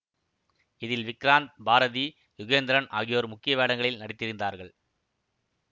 இதில் விக்ராந்த் பாரதி யுகேந்திரன் ஆகியோர் முக்கிய வேடங்களில் நடித்திருந்தார்கள்